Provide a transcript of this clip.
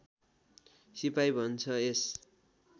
सिपाही भन्छ यस